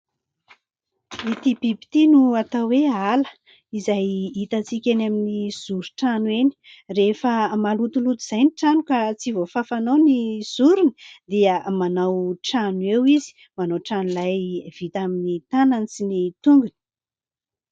Ity biby ity no atao hoe ala izay hitantsika eny amin'ny zorin-trano eny. Rehefa malotoloto izay ny trano ka tsy voafafanao ny zoriny dia manao trano eo izy, manao trano lay vita amin'ny tanany sy ny tongony.